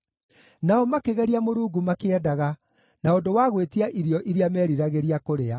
Nao makĩgeria Mũrungu makĩendaga, na ũndũ wa gwĩtia irio iria meeriragĩria kũrĩa.